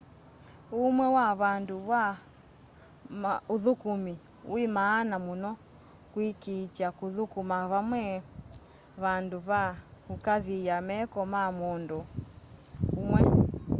uũmwe wa vandũ va ũthũkũmĩ wĩ maana mũno kũĩkĩĩtya kũthũkũma vame vandũ va kũkaathĩa meko ma mũndũ ũmwe